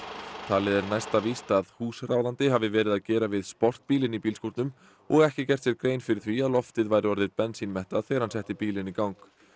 talið er næsta víst að að húsráðandi hafi verið að gera við sportbíl inni í bílskúrnum og ekki gert sér grein fyrir því að loftið væri orðið þegar hann setti bílinn í gang